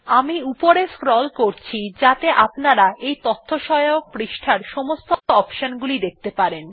আমি উপরে স্ক্রল করছি যাতে আপনারা এই তথ্যসহায়ক পৃষ্ঠার সমস্ত অপশন গুলি দেখতে পারেন